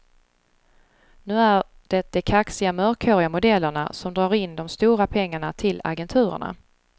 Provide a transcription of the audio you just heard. Nu är det de kaxiga mörkhåriga modellerna som drar in de stora pengarna till agenturerna.